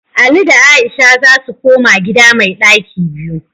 Ali da Aisha za su koma gida mai ɗaki biyu